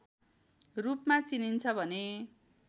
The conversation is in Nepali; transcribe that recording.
रूपमा चिनिन्छ भने